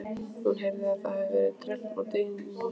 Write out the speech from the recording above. Hún heyrði að það hafði dregið úr dyninum.